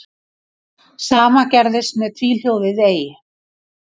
Sama gerðist með tvíhljóðið ey.